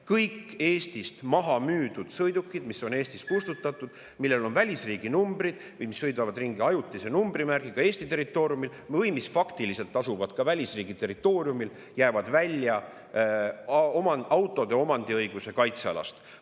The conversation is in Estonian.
Kõik Eestist maha müüdud sõidukid, mis on Eestis kustutatud, millel on välisriigi numbrid või mis sõidavad ringi ajutise numbrimärgiga Eesti territooriumil või mis faktiliselt asuvad välisriigi territooriumil, jäävad välja autode omandiõiguse kaitsealast.